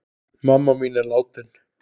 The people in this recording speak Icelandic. Mamma mín er látin.